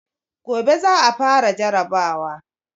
Gobe za a fara jarrabawa.